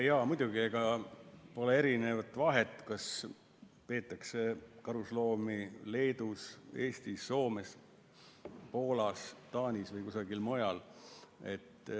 Jaa, muidugi, ega pole vahet, kas peetakse karusloomi Leedus, Eestis, Soomes, Poolas, Taanis või kusagil mujal.